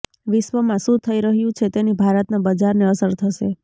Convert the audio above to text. વિશ્વમાં શું થઈ રહ્યું છે તેની ભારતના બજારને અસર થશે